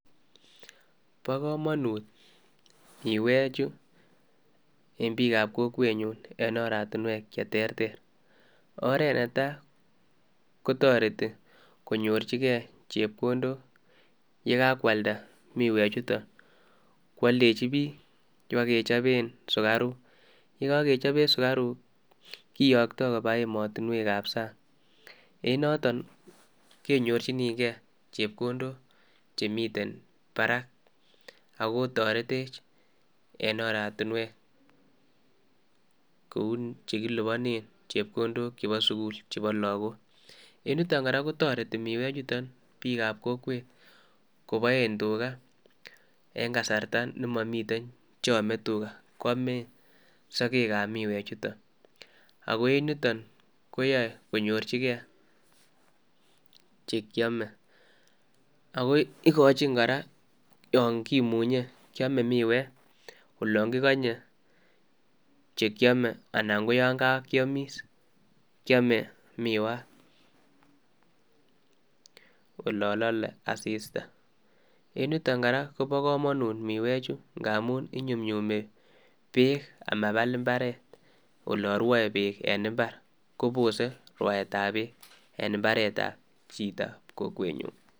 Bo kamanut midweek chuu en biik ab kokweet nyuun en biik che terter oret ne tai ko taretii konyorjingei chepkondook ye kakwaldaa midweek chutoon ,ye kakwaledejii biik ibaak kechapeen sugariuk ye kakechapen sugariuk kiyakta kobaa ematinweek ab saang en notoon ke nyorjigei chepkondook che Miten Barak ak Koo tareteech en oratinweek kou che kilupaneen chepkondook chebo sugul cheuu chebo lagook en yutoon Yuu kotaretii midweek ab kokwet kobaen tuga en kasarta nemamiiten cheame tuga koyame sageg ab midweek chutoon ago en yutoon koyae koinyorjigei che kiame agoi igochiinn koraa yaan kimunyei kiame midweek olaan kiganyei chekiyame anan ko yaan kakiamis ,kiame miwaat olaan lale assista, en yutoon kora Kobo kamanut midweek chuu ngamuun konyunyumi beek ama Baal mbaret olaan rwae beek en mbar kobosei rwaet ab beek en mbaret ab kokwet nyuun.